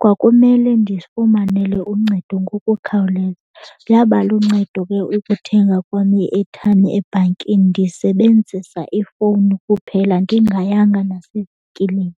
Kwakumele ndizifumanele uncedo ngokukhawuleza. Yaba luncedo ke ukuthenga kwam i-airtime ebhankini ndisebenzisa ifowuni kuphela ndingayanga nasevenkileni.